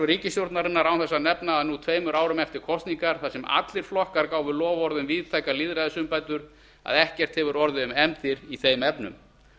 ríkisstjórnarinnar án þess að nefna það að nú tveimur árum eftir kosningar þar sem allir flokkar gáfu loforð um víðtækar lýðræðisumbætur hefur ekkert orðið um efndir í þeim efnum